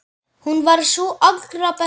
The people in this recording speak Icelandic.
Hún var sú allra besta.